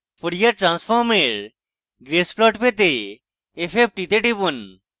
fourier transform এর একটি grace plot পেতে fft তে টিপুন